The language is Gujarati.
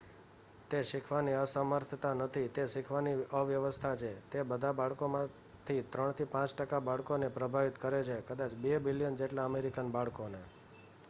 "તે શીખવાની અસમર્થતા નથી તે શીખવાની અવ્યવસ્થા છે; તે બધા બાળકોમાંથી 3 થી 5 ટકા બાળકોને પ્રભાવિત કરે છે કદાચ 2 મિલિયન જેટલા અમેરિકન બાળકોને ".